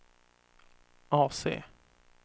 AC